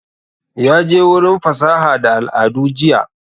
Ya je wurin fasaha da al'adu jiya